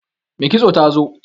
Mai kitson ta zo?